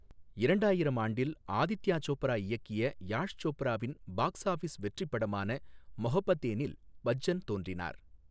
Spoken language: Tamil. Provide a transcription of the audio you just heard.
இரண்டாயிரம் ஆண்டில், ஆதித்யா சோப்ரா இயக்கிய யாஷ் சோப்ராவின் பாக்ஸ் ஆஃபிஸ் வெற்றிப் படமான மொஹப்பத்தேனில் பச்சன் தோன்றினார்.